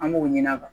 An b'o ɲini a kan